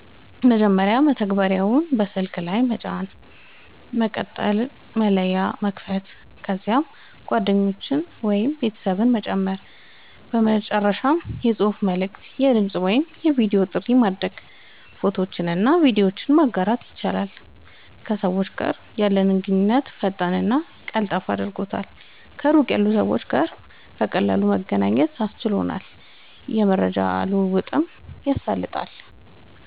መጀመሪያ መተግበሪያውን በስልክ ላይ መጫን፣ በመቀጠል መለያ መክፈት፣ ከዚያም ጓደኞችን ወይም ቤተሰቦችን መጨመር፣ በመጨረሻም የጽሑፍ መልዕክት፣ የድምጽ ወይም የቪዲዮ ጥሪ ማድረግ፣ ፎቶዎችንና ቪዲዮዎችን ማጋራት ይችላሉ። ከሰዎች ጋር ያለንን ግንኙነት ፈጣንና ቀላል አድርጓል፣ ከሩቅ ያሉ ሰዎች ጋር በቀላሉ መገናኘት አስችሏል፣ የመረጃ ልዉዉጥን አሳልጧል